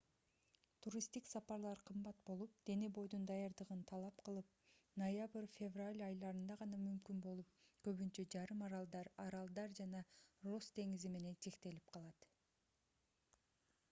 туристтик сапарлар кымбат болуп дене-бойдун даярдыгын талап кылып ноябрь-февраль айларында гана мүмкүн болуп көбүнчө жарым аралдар аралдар жана росс деңизи менен чектелип калат